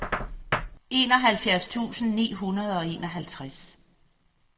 enoghalvfjerds tusind ni hundrede og enoghalvtreds